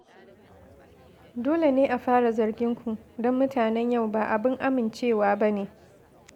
Dole ne a fara zargin ku, don mutanen yau ba abin amincewa ba ne.